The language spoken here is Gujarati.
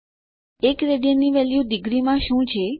1 રાડ ની વેલ્યુ ડિગ્રીમાં શું છે